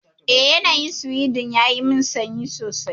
Eh, yanayin Sweden yayi min sanyi sosai.